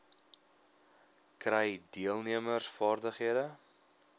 kry deelnemers vaardighede